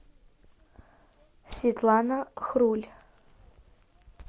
светлана хруль